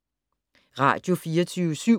Radio24syv